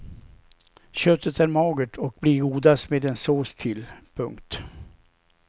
Köttet är magert och blir godast med en sås till. punkt